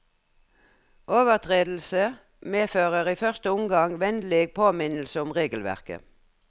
Overtredelse medfører i første omgang vennlig påminnelse om regelverket.